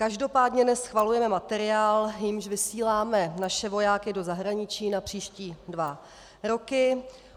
Každopádně schvalujeme materiál, jímž vysíláme naše vojáky do zahraničí na příští dva roky.